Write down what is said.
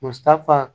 Muso ta fan